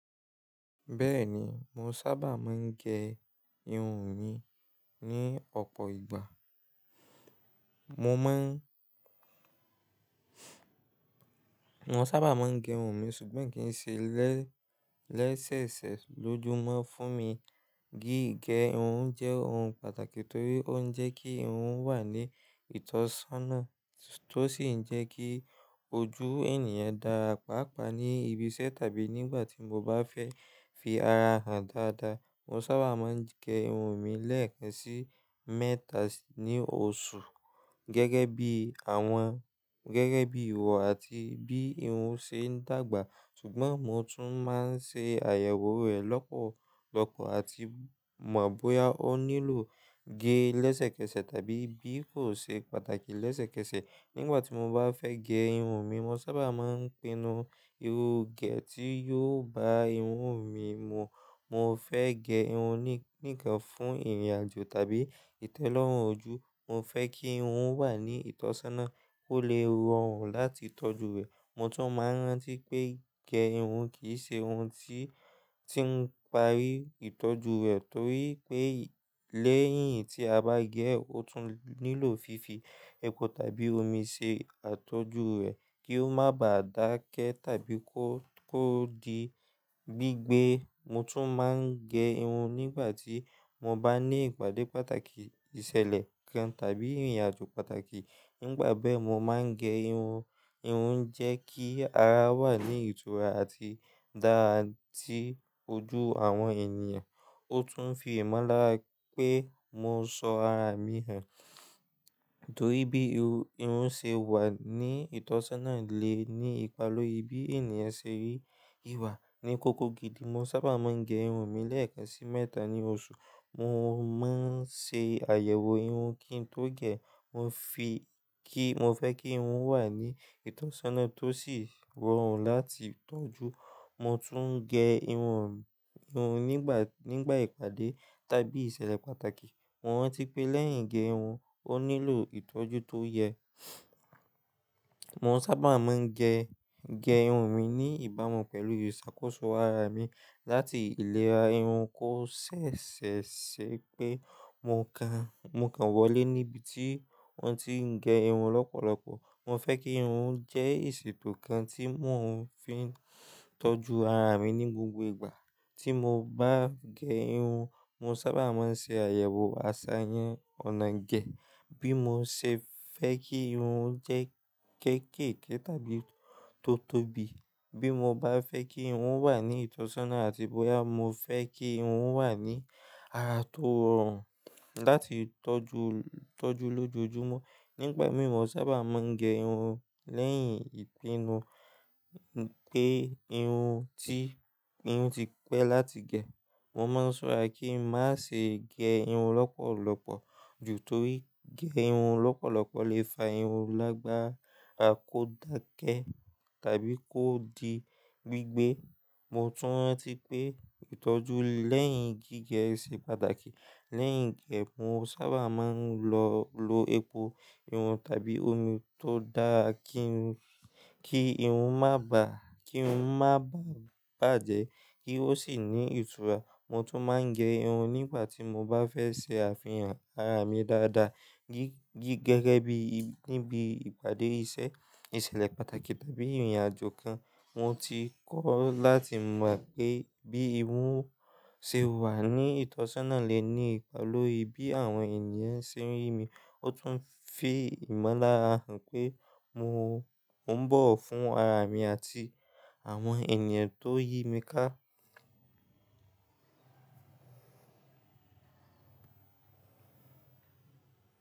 Bẹ́ẹ̀ni, mo sábà máa ń gẹ irun mi ní ọ̀pọ̀ ìgbà. Mo sábà máa ń gẹ irun mi ṣùgbọ́n i nkì í ṣe lẹ́ṣẹ̀ẹsẹ lójúmọ́ fún mi. Gígẹ irun jẹ́ ohun pàtàkì torí ó ń jẹ́ kí irun wà ní ìtọ́sọ́nà tó sì ń jẹ́ kí ojú ènìyàn dára pàápàá ní ibiṣẹ́ tàbí nígbà tí mo bá fẹ́ fi ara hàn dáadáa. Mo sábà máa ń gẹ irun mi lẹ́ẹ̀kan sí mẹ́ta ní oṣù gẹ́gẹ́ bí ìwọ àti bí irun ṣe ń dàgbà. Ṣùgbọ́n mo tún máa ń ṣe àyẹ̀wò rẹ̀ lọ́pọ̀lọpọ̀ àti mọ̀ bóyá ó nílò gé lẹ́sẹ̀kẹsẹ̀ tàbí bí kò ṣe pàtàkì lẹ́sẹ̀kẹsẹ̀. Nígbà tí mo bá fẹ́ gẹ irun mi, mo sábà máa ń pinnu irú gẹ̀ tí yóò bá irun mi mu. Mo fẹ́ gẹ irun níkan fún ìrìnàjò tàbí ìtẹ́lọ́rùn ojú. Mo fẹ́ kí irun o wà ní ìtọ́sọ́nà kó lè rọrùn láti tọ́jú rẹ̀. Mo tún mọ̀ rántí pé gẹ irun kì í ṣe ohun tí ń parí ìtọ́jú rẹ̀ torí pé lẹ́yìn tí a bá gẹ, ó tún nílò fífi epo tàbí omi ṣe àtójú rẹ̀ kí ó má bà dákẹ́ tàbí kó di gbígbẹ. Mo tún máa ń gẹ irun nígbà tí mo bá ní ìpàdé pàtàkì, ìṣẹ̀lẹ̀ kan tàbí ìrìnàjò pàtàkì. Nígbà be mo máa ń gẹ irun, irun ń jẹ́ kí ara wà ní ìtura àti dára tí ojú àwọn ènìyàn. Ó tún fi ìmọ́lára pé mo sọ ara mi hàn torí bí irun ṣe wà ní ìtọ́sọ́nà lè ní ipa lórí bí ènìyàn ṣe rí ìwà ní kókó gidi. Mo sábà máa ń gẹ irun mi lẹ́ẹ̀kan sí mẹ́ta ní oṣù. Mo máa ń ṣe àyẹ̀wò irun kí n tó gẹ. Mo fẹ́ kí irun wà ní ìtọ́sọ́nà tó sì rọrùn láti tọ́jú. Mo tún ń gẹ irun nígbà ìpàdé tàbí ìṣẹ̀lẹ̀ pàtàkì. Mo rántí pé lẹ́yìn gẹ irun, ó nílò ìtọ́jú tó yẹ. Mo sábà máa ń gẹ irun mi ní ìbámu pẹ̀lú ìṣàkóso ara mi láti ilèra irun kó ṣẹ̀ṣẹ̀ ṣe pé mo kàn wọlé níbi tí wọ́n ti ń gẹ irun lọ́pọ̀lọpọ̀. Mo fẹ́ kí irun jẹ́ èsì tó kan tí mo fi ń tọ́jú ara mi ní gbogbo ìgbà tí mo bá gẹ irun. Mo sábà máa ń ṣe àyẹ̀wò àṣàyàn ọ̀nà gẹ̀ bí mo ṣe fẹ́ kí irun jẹ́ kékekè tàbí tótóbi, bí mo bá fẹ́ kí irun wà ní ìtọ́sọ́nà àti bóyá mo fẹ́ kí irun wà ní ara tó rọrùn láti tọ́jú lójoojúmọ́. Nígba mi, mo sábà máa ń gẹ irun lẹ́yìn ìpinu pé irun ti pẹ́ láti gẹ. Mo máa ń ṣọ́ra kí ń má ṣe gẹ irun lọ́pọ̀lọpọ̀ ju torí gẹ irun lọ́pọ̀lọpọ̀ lè fa irun lágbára kó dákẹ́ tàbí kó di gbígbẹ. Mo tun ranti pe itoju leyin gige se pataki. Lẹ́yìn gẹ, mo sábà máa ń lo epo irun tàbí omi tó dára kí irun má bà bàjẹ́ kí ó sì ní ìtura. Mo tún máa ń gẹ irun nígbà tí mo bá fẹ́ ṣe àfihàn ara mi dáadáa gẹ́gẹ́ bí níbi ìpàdé iṣẹ́, ìṣẹ̀lẹ̀ pàtàkì tàbí ìrìnàjò kan. Mo ti kọ́ láti mọ̀ pé bí irun ṣe wà ní ìtọ́sọ́nà lè ní ipa lórí bí àwọn ènìyàn ṣe n rí mi. Ó tún fi ìmọ́lára hàn pé mò ń bọ̀wo fún ara mi àti àwọn ènìyàn tó yí mi ká.